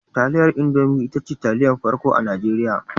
Taliyar Indomi ita ce taliyar farko a Najeriya.